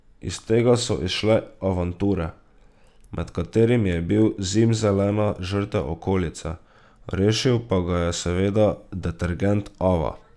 Iz tega so izšle avanture, med katerimi je bil zimzelena žrtev okolice, rešil pa ga je seveda detergent Ava.